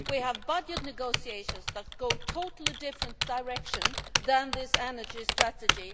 We have budget negotiations that go in a totally different direction from this energy strategy.